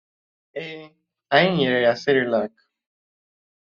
Ee, anyị nyere ya sịrịlak